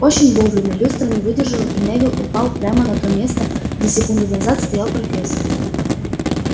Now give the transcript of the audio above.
очень вовремя люстра не выдержала и невилл упал прямо на то место где секунду назад стоял профессор